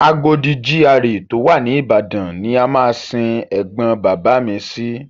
Agodi GRA tó wà ní Ìbàdàn ni a máa sin ẹ̀gbọn bàbá mi sí.